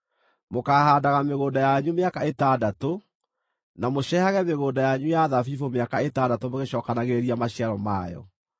Mũkaahaandaga mĩgũnda yanyu mĩaka ĩtandatũ, na mũcehage mĩgũnda yanyu ya thabibũ mũkamĩcehaga mĩaka ĩtandatũ mũgĩcookanagĩrĩria maciaro mayo.